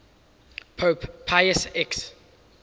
pope pius x